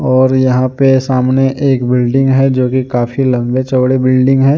और यहां पे सामने एक एक बिल्डिंग है जो कि काफी लंबी चौड़े बिल्डिंग है।